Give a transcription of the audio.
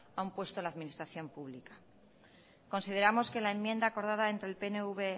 a un puesto en la administración pública consideramos que la enmienda acordada entre el pnv